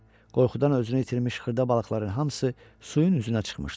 Qorxudan özünü itirmiş xırda balıqların hamısı suyun üzünə çıxmışdı.